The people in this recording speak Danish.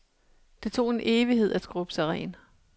Det tog en evighed at skrubbe sig ren.